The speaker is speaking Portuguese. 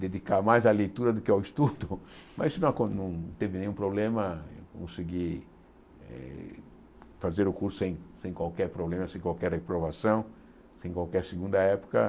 dedicar mais à leitura do que ao estudo, mas isso não acon não teve nenhum problema, eu consegui eh fazer o curso sem sem qualquer problema, sem qualquer reprovação, sem qualquer segunda época.